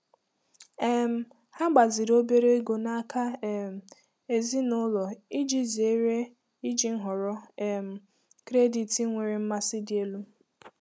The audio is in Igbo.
um Ha gbaziri obere ego n'aka um ezinụlọ iji zere iji nhọrọ um kredit nwere mmasị dị elu.